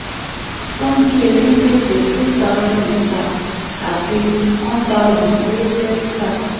cs] sundry onígbèsè three thousandreeta àti one thousand ti o je reeta